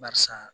Barisa